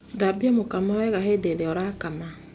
Thambia mũkamo wega hindĩ ĩrĩa ũrakama.